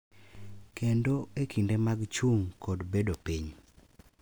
Kendo e kinde mag chung’ kod bedo piny.